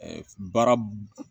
baara